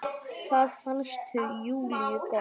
Það fannst Júlíu gott.